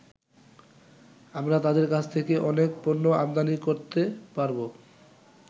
আমরা তাদের কাছ থেকে অনেক পণ্য আমদানি করতে পারবো।